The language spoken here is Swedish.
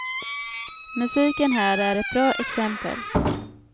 Musiken här är ett bra exempel.